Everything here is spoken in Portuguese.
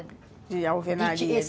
De alvenaria, de tij isso